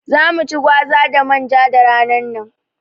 Za mu ci gwaza da manja da ranar nan